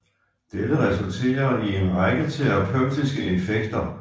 Dette resulterer i en række terapeutiske effekter